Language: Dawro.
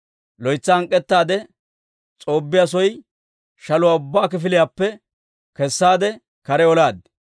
Loytsa hank'k'etaadde, S'oobbiyaa soy shaluwaa ubbaa kifiliyaappe kessaade, kare olaad.